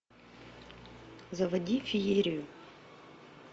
заводи феерию